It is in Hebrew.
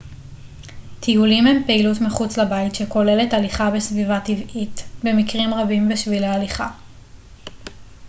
טיולים הם פעילות מחוץ לבית שכוללת הליכה בסביבה טבעית במקרים רבים בשבילי הליכה